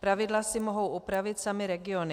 Pravidla si mohou upravit samy regiony.